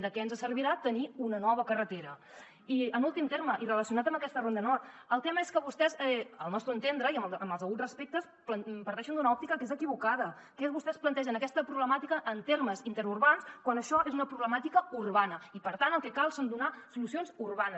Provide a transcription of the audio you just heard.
de què ens servirà tenir una nova carretera i en últim terme i relacionat amb aquesta ronda nord el tema és que vostès al nostre entendre i amb els deguts respectes parteixen d’una òptica que és equivocada que és vostès plantegen aquesta problemàtica en termes interurbans quan això és una problemàtica urbana i per tant el que cal és donar solucions urbanes